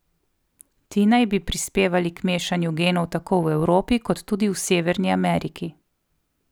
Ti naj bi prispevali k mešanju genov tako v Evropi, kot tudi v Severni Ameriki.